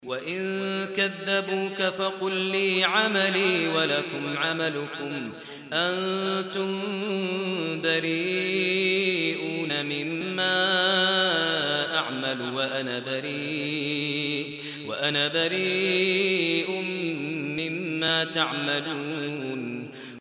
وَإِن كَذَّبُوكَ فَقُل لِّي عَمَلِي وَلَكُمْ عَمَلُكُمْ ۖ أَنتُم بَرِيئُونَ مِمَّا أَعْمَلُ وَأَنَا بَرِيءٌ مِّمَّا تَعْمَلُونَ